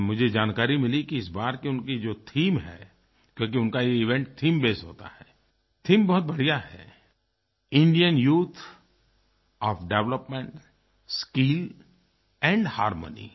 और मुझे जानकारी मिली कि इस बार की उनकी जो थीम है क्योंकि उनका ये इवेंट थेम बेस्ड होता है थीम बहुत बढ़िया है Indian youth on development skill and harmony